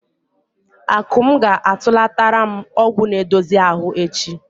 Akụm ga-atụlatara m ọgwụ na-edozi ahụ echi.